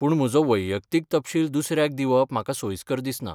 पूण म्हजो वैयक्तीक तपशील दुसऱ्याक दिवप म्हाका सोयिस्कर दिसना.